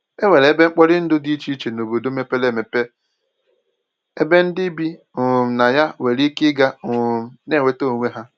E nwere ebe mkporindụ dị iche iche n'obodo mepere eme ebe ndị bi um na ya nwere ike ịga um na-enweta onwe ha